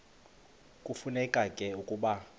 kufuneka ke ukuba